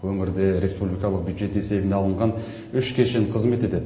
өңірде республикалық бюджет есебіне алынған үш кешен қызмет етеді